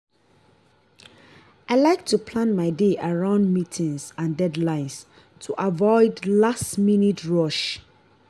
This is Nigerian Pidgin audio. i like to plan my day around meetings and deadlines to avoid last-minute rush.